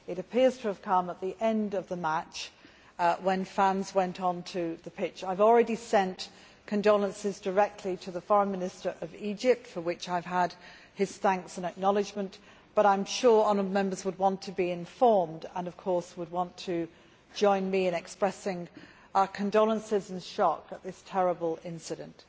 It appears to have come at the end of the match, when fans went onto the pitch. I have already sent condolences directly to the Foreign Minister of Egypt, for which I have had his thanks and acknowledgement, but I am sure the honourable Members would want to be informed and of course would want to join me in expressing our condolences and shock at this terrible incident.